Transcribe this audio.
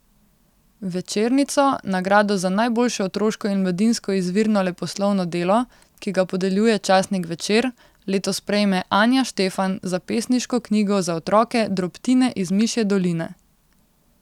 Večernico, nagrado za najboljše otroško in mladinsko izvirno leposlovno delo, ki ga podeljuje časnik Večer, letos prejme Anja Štefan za pesniško knjigo za otroke Drobtine iz mišje doline.